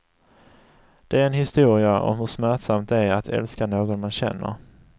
Det är en historia om hur smärtsamt det är att älska någon man känner.